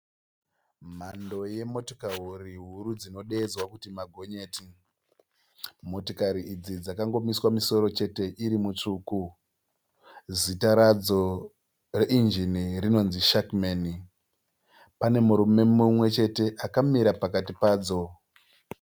Mhando yemotikari huru dzinodeedzwa kuti magonyeti. Motikari idzi dzakangomiswa misoro chete iri mitsvuku. Zita radzo reinjini rinonzi Shackman. Pane murume mumwe chete akamira pakati padzo.